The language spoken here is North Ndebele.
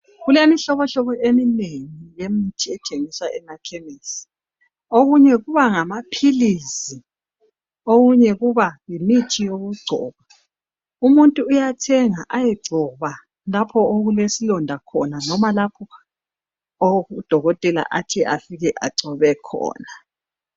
Kulemihlobohlobo eminengi yemithi ethengiswa emakhemesi .Okunye kuba ngamaphilizi, okunye kuba yimithi yokungcoba. Umuntu uyathenga ayengcoba lapho okulesilonda khona loba lapho udokotela athi afike engcobe khona.